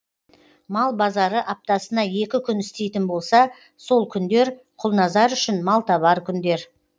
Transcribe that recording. мал базары аптасына екі күн істейтін болса сол күндер құлназар үшін малтабар күндер